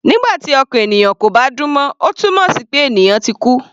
Nígbà tí ọkàn ènìyàn kò bá dún mọ́, ó túmọ̀ sí pé ènìyàn náà ti kú.